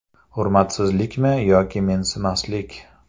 Hurmatsizlikmi yoki mensimaslik?